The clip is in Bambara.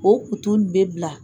O kutu nin bɛ bila.